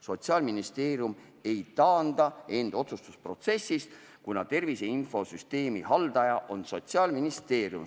Sotsiaalministeerium ei taanda end otsustusprotsessist, kuna tervise infosüsteemi haldaja on Sotsiaalministeerium.